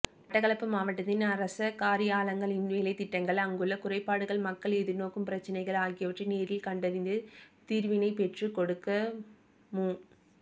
மட்டக்களப்பு மாவட்டத்தில் அரச காரியாலங்களின் வேலைத்திட்டங்கள் அங்குள்ள குறைபாடுகள் மக்கள் எதிர்நோக்கும் பிரச்சனைகள் ஆகியவற்றை நேரில் கண்டறிந்து தீர்வினைப்பெற்றுக்கொடுக்குமு